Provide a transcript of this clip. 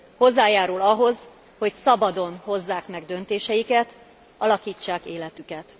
Hozzájárul ahhoz, hogy szabadon hozzák meg döntéseiket, alakítsák életüket.